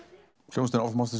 hljómsveitin of monsters